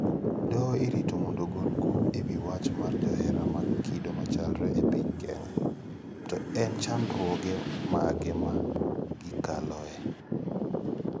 Doho irito mondo ogol kum e wi wach mar johera mag kido machalre e piny Kenya: To en chandruoge mage ma gikaloe?